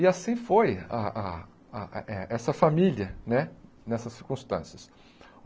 E assim foi a a a eh essa família né, nessas circunstâncias.